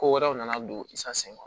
Ko wɛrɛw nana don i sagon